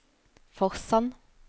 Forsand